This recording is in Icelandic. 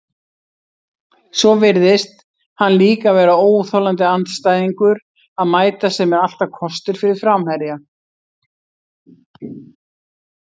Svo virðist hann líka vera óþolandi andstæðingur að mæta, sem er alltaf kostur fyrir framherja.